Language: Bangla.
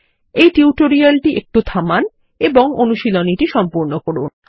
এই টিউটোরিয়ালটি সাময়িকভাবে থামান এবং এই অনুশীলনীটি সম্পূর্ণ করুন